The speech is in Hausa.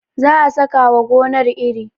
za a saka wa gonar iri